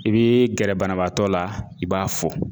I bi gɛrɛ banabaatɔ la i b'a fo